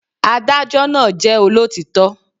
Adájó náà jẹ́ olótítọ́